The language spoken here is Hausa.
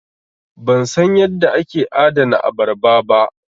Ban san yadda ake adana abarba ba.